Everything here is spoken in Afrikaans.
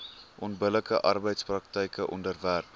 onbillike arbeidspraktyke onderwerp